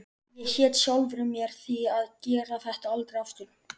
Ég hét sjálfri mér því að gera þetta aldrei aftur.